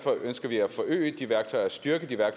stjæle eller